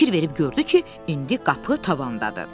Fikir verib gördü ki, indi qapı tavandadır.